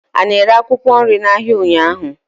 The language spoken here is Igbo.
ị na-ere akwụkwọ nri n'ahịa ụnyaahụ?